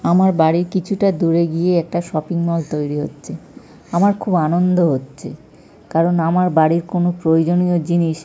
আমার বাড়ির কিছুটা দূরে গিয়ে একটা শপিং মল তৈরি হচ্ছে। আমার খুব আনন্দ হচ্ছে কারণ আমার বাড়ির কোন প্রয়োজনীয় জিনিস --